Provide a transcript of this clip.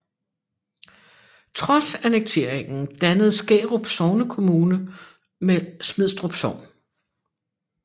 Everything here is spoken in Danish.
Trods annekteringen dannede Skærup sognekommune med Smidstrup Sogn